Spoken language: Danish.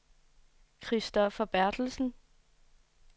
Christopher Berthelsen